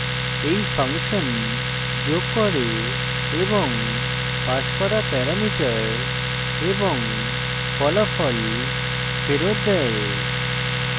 এই ফাংশন যোগ করে এবং passed করা প্যারামিটার এবং ফলাফল ফেরত দেয়